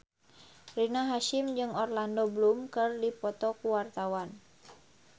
Rina Hasyim jeung Orlando Bloom keur dipoto ku wartawan